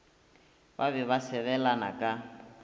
ba be ba sebelana ka